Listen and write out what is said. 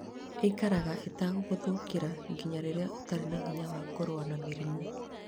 Ĩikaraga ĩtegũgũthũkĩra nginya rĩrĩa ũtarĩ na hinya wa kũrũa na mĩrimũ.